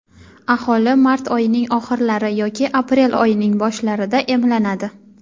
aholi mart oyining oxirlari yoki aprel oyining boshlarida emlanadi.